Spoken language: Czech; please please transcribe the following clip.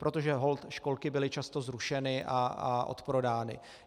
Protože holt školky byly často zrušeny a odprodány.